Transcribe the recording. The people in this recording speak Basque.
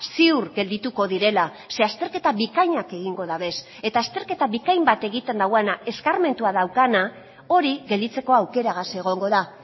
ziur geldituko direla ze azterketa bikainak egingo dabez eta azterketa bikain bat egiten duena eskarmentua daukana hori gelditzeko aukeragaz egongo da